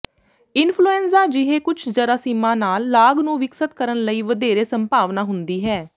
influenza ਜਿਹੇ ਕੁਝ ਜਰਾਸੀਮਾਂ ਨਾਲ ਲਾਗ ਨੂੰ ਵਿਕਸਤ ਕਰਨ ਲਈ ਵਧੇਰੇ ਸੰਭਾਵਨਾ ਹੁੰਦੀ ਹੈ